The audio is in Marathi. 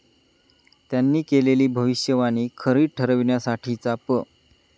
त्यांनी केलेली भविष्यवाणी खरी ठरविण्यासाठीचा प.